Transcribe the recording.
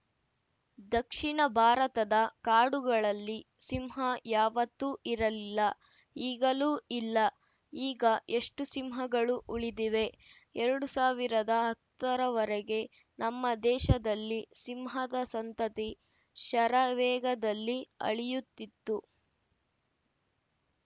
ದಕ್ಷಿಣ ಭಾರತದ ಕಾಡುಗಳಲ್ಲಿ ಸಿಂಹ ಯಾವತ್ತೂ ಇರಲಿಲ್ಲ ಈಗಲೂ ಇಲ್ಲ ಈಗ ಎಷ್ಟುಸಿಂಹಗಳು ಉಳಿದಿವೆ ಎರಡು ಸಾವಿರದ ಹತ್ತರವರೆಗೆ ನಮ್ಮ ದೇಶದಲ್ಲಿ ಸಿಂಹದ ಸಂತತಿ ಶರವೇಗದಲ್ಲಿ ಅಳಿಯುತ್ತಿತ್ತು